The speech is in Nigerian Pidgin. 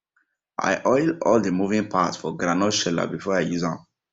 i oil all dey moving part for groundnut sheller before i use am